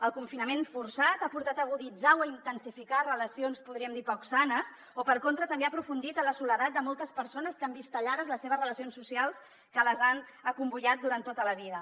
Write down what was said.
el confinament forçat ha portat a aguditzar o a intensificar relacions podríem dir poc sanes o per contra també ha aprofundit en la soledat de moltes persones que han vist tallades les seves relacions socials que les han acomboiat durant tota la vida